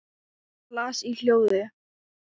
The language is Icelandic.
Hann las í hljóði: